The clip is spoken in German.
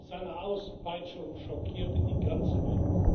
Seine Auspeitschung schockierte die ganze Welt.